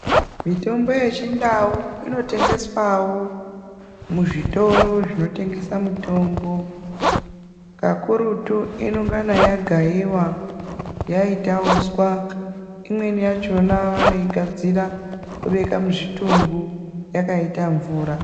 Mitombo yechindau inotengeswawo kuzvitoro zvinotengesa mitombo kakurutu inengana yagaiwa yaita uswa imweni yakhona vanoigadzira vobeka muzvitumbu yakaita mvura.